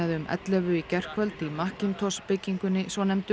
um ellefu í gærkvöld í byggingunni svonefndu